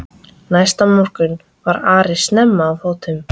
Næsta morgun var Ari snemma á fótum.